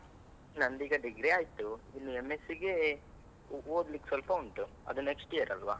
ನಂದ್ ಈಗ degree ಆಯ್ತು, ಇನ್ M.Sc ಗೆ ಓದ್ಲಿಕ್ಕೆ ಸ್ವಲ್ಪ ಉಂಟು. ಅದು next year ಅಲ್ವ.